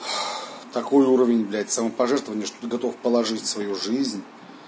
такой уровень блядь самопожертвование что готов положить свою жизнь